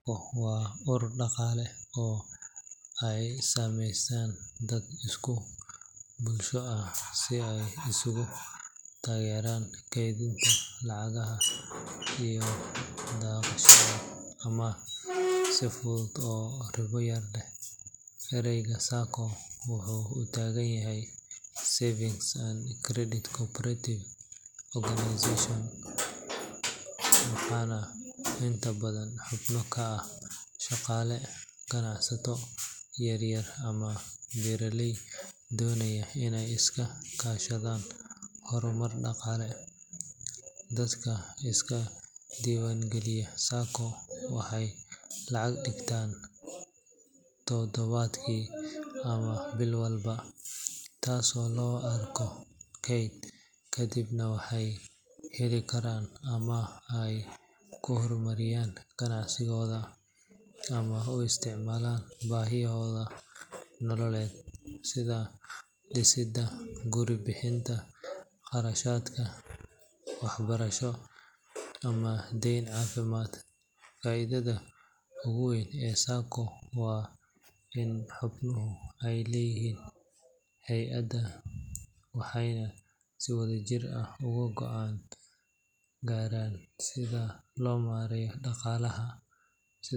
SACCO waa urur dhaqaale oo ay sameystaan dad isku bulsho ah si ay isugu taageeraan kaydinta lacagaha iyo qaadashada amaah si fudud oo ribo yar leh. Erayga SACCO wuxuu u taagan yahay Savings and Credit Cooperative Organization, waxaana inta badan xubno ka ah shaqaale, ganacsato yaryar, ama beeraley doonaya inay iska kaashadaan horumar dhaqaale. Dadka iska diiwaangeliya SACCO waxay lacag dhigtaan toddobaadkii ama bil walba, taasoo loo arko kayd, kadibna waxay heli karaan amaah ay ku horumariyaan ganacsigooda ama u isticmaalaan baahiyahooda nololeed sida dhisidda guri, bixinta kharashaadka waxbarasho, ama daaweyn caafimaad. Faa’iidada ugu weyn ee SACCO waa in xubnuhu ay leeyihiin hay’adda, waxayna si wadajir ah uga go’aan gaaraan sida loo maareeyo dhaqaalaha. SidoO.